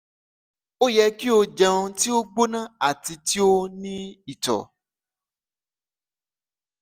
o yẹ ki o jẹun ti o gbona ati ti o ni itọ